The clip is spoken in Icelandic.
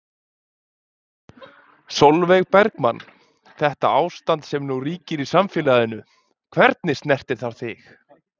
Sólveig Bergmann: Þetta ástand sem nú ríkir í samfélaginu, hvernig snertir það þig?